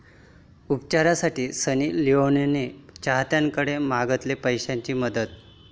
उपचारासाठी सनी लिओनने चाहत्यांकडे मागितली पैशांची मदत!